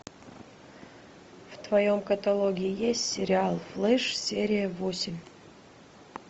в твоем каталоге есть сериал флеш серия восемь